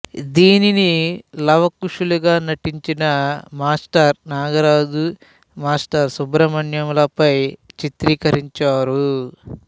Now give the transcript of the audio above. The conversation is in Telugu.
దీనిని లవకుశులుగా నటించిన మాస్టర్ నాగరాజు మాస్టర్ సుబ్రహ్మణ్యం లపై చిత్రికరించారు